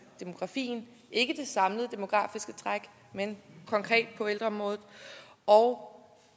demografien ikke det samlede demografiske træk men konkret på ældreområdet og